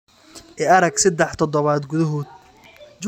I arag saddex toddobaad gudahood.